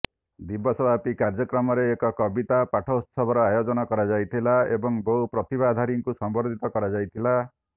ଦିବସ ବ୍ୟାପି କାର୍ଯ୍ୟକ୍ରମରେ ଏକ କବିତା ପାଠୋତ୍ସବର ଆୟୋଜନ କରାଯାଇଥିଲା ଏବଂ ବହୁ ପ୍ରତିଭାଧାରୀଙ୍କୁ ସମ୍ବର୍ଦ୍ଧିତ କରାଯାଇଥିଲା